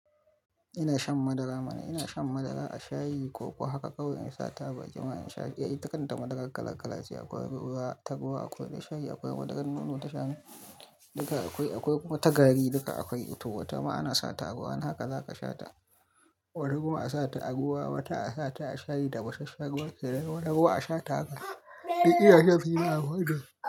Ina shan madara mana, ina shan madara a shayi ko ko haka kawai an sata baki ma in sha. Ita kanta madarar kala kala ce akwai ruwa ta ruwa, akwai ta shayi, akwai madarar nono ta shanu duka akwai, akwai kuma ta gari duka akwai, to wata ma ana sata ruwa, haka za ka shata. Wata kuma a sata a ruwa, wata a sata a shayi da tafasasshen ruwa kenan da ruwa a shata haka. Likita yace fi ma akwai da.